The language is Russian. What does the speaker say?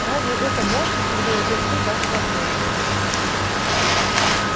разве это можно когда я держу вас в объятиях